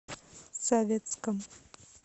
советском